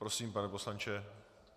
Prosím, pane poslanče.